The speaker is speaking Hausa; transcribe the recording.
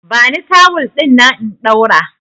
Bani tawul dinnan in ɗaura!